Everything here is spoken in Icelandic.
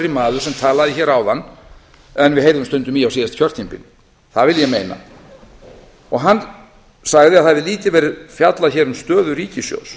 maður sem talaði hér áðan en við heyrðum stundum í á síðasta kjörtímabili það vil ég meina hann sagði að það hefði lítið verið fjallað hér um stöðu ríkissjóðs